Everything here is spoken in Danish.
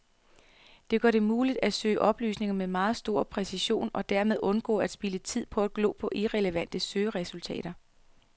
Det gør det muligt at søge oplysninger med meget stor præcision og dermed undgå at spilde tid på at glo på irrelevante søgeresultater.